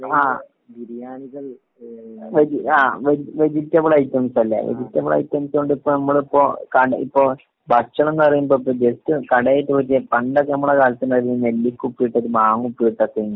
ആഹ് ഏ ഹ് വെജി ആഹ് വേജി ആഹ് വെജിറ്റബിൾ വെജിറ്റബിൾ ഐറ്റംസല്ലേ? ആഹ്. വെജിറ്റബിൾ ഐറ്റംസ് കൊണ്ട് ഇപ്പൊ നമ്മള് നമ്മള് ഇപ്പൊ കട ഭക്ഷണന്ന് പറയുമ്പൊ ഇപ്പൊ ജസ്റ്റ്‌ കടേ പോയിട്ട് പണ്ടൊക്കെ നമ്മളെ കാലത്തുണ്ടായിരുന്നു നെല്ലിക്ക ഉപ്പിലിട്ടതും മാങ്ങ ഉപ്പിലിട്ടതൊക്കേന്നു.